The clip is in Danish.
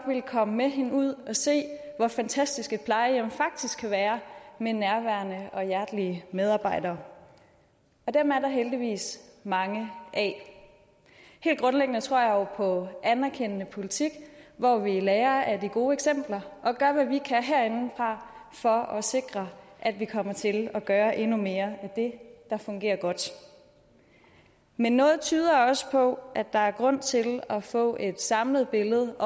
ville komme med hende ud at se hvor fantastisk et plejehjem faktisk kan være med nærværende og hjertelige medarbejdere og dem er der heldigvis mange af helt grundlæggende tror jeg jo på anerkendende politik hvor vi lærer af de gode eksempler og gør hvad vi kan herindefra for at sikre at vi kommer til at gøre endnu mere af det der fungerer godt men noget tyder også på at der er grund til at få et samlet billede